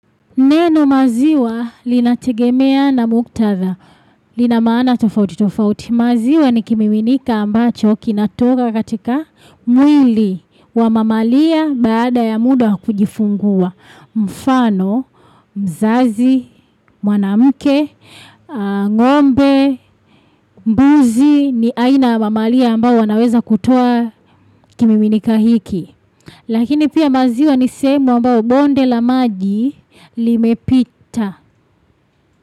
Neno maziwa linategemea na muktadha, lina maana tofauti tofauti. Maziwa ni kimiminika ambacho kinatoka katika mwili wa mamalia baada ya muda kujifungua. Mfano, mzazi, mwanamke, ng'ombe, mbuzi ni aina ya mamalia ambao wanaweza kutua kimiminika hiki. Lakini pia maziwa ni sehemu ambao bonde la maji limepita.